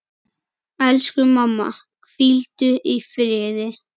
Elsku mamma, hvíldu í friði.